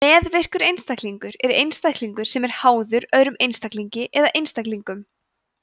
meðvirkur einstaklingur er einstaklingur sem er „háður“ öðrum einstaklingi eða einstaklingum